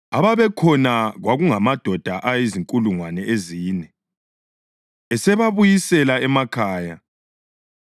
Ababekhona kwakungamadoda azinkulungwane ezine. Esebabuyisele emakhaya,